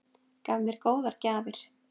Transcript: Gaf mér góðar gjafir.